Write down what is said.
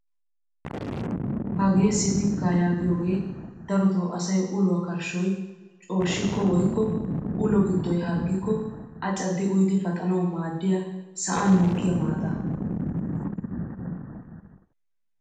Hagee sifikkaa yaagiyoogee darotoo asay uluwaa karshshoy shoccikko woykko ulo giddoy harggikko a caddi uyidi paxanawu maaddiyaa sa'an mokkiyaa maataa.